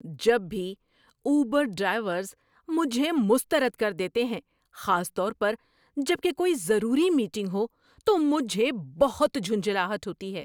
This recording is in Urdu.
جب بھی اوبر ڈرائیورز مجھے مسترد کر دیتے ہیں، خاص طور پر جب کہ کوئی ضروری میٹنگ ہو، تو مجھے بہت جھنجھلاہٹ ہوتی ہے۔